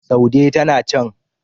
saude tana can